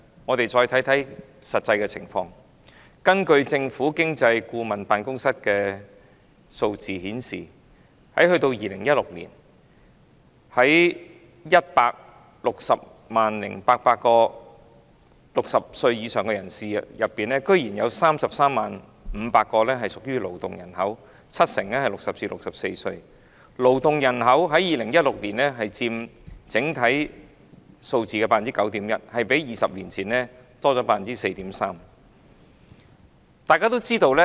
我們看看實際的情況，政府經濟顧問辦公室的數字顯示，於2016年，在 1,600 800名60歲以上人士當中，竟然有 330,500 人屬於勞動人口，七成介乎60至64歲，佔2016年整體勞動人口數字的 9.1%， 較20年前多出 4.3%。